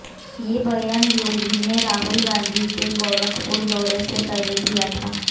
ये बयान योगी ने राहुल गांधी के गोरखपुर दौरे से पहले दिया था